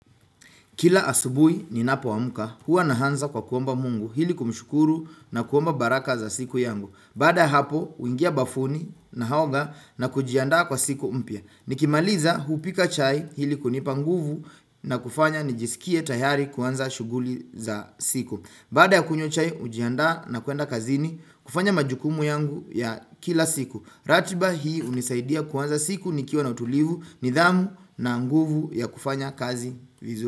Kila asubuhi ninapoamka huwa naanza kwa kuomba mungu ili kumshukuru na kuomba baraka za siku yangu. Badaa ya hapo huingia bafuni naoga na kujiandaa kwa siku mpya. Nikimaliza hupika chai ili kunipa nguvu na kufanya nijisikie tayari kuanza shughuli za siku. Badaa ya kunywa chai hujiandaa na kuenda kazini kufanya majukumu yangu ya kila siku. Ratiba hii hunisaidia kuanza siku nikiwa na utulivu nidhamu na nguvu ya kufanya kazi vizu.